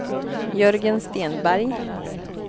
Jörgen Stenberg